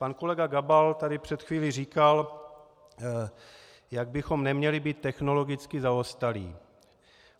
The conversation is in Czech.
Pan kolega Gabal tady před chvílí říkal, jak bychom neměli být technologicky zaostalí.